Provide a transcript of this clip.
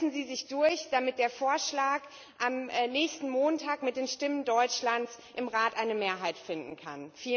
Setzen Sie sich durch, damit der Vorschlag am nächsten Montag mit den Stimmen Deutschlands im Rat eine Mehrheit finden kann!